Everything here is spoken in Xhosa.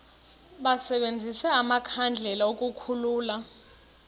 basebenzise amakhandlela ukukhulula